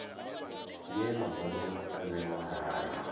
ye mabono a vhewa ngayo